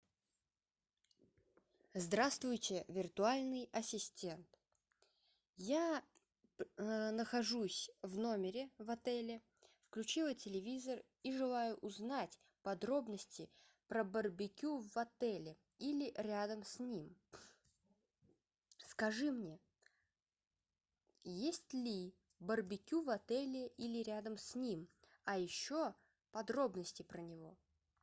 здраствуйте виртуальный ассистент я нахожусь в номере в отеле включила телевизор и желаю узнать подробности про барбекю в отеле или рядом с ним скажи мне есть ли барбекю в отеле или рядом с ним а еще подробности про него